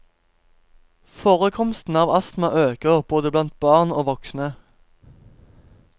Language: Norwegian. Forekomsten av astma øker, både blant barn og voksne.